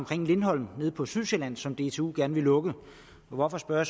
lindholm nede på sydsjælland som dtu gerne vil lukke og hvorfor spørger